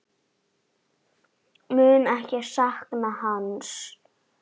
Mun ekki sakna hans.